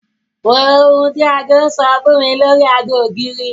Wo ohun tí aago sọ fún mi lórí aago ògiri.